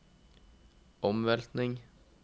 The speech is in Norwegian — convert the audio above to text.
omveltning